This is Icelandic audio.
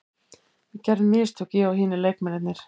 Við gerðum mistök, ég og hinir leikmennirnir.